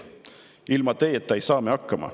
Ilma teieta ei saa me hakkama.